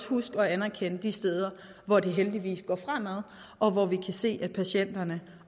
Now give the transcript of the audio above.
huske at anerkende de steder hvor det heldigvis går fremad og hvor vi kan se at patienterne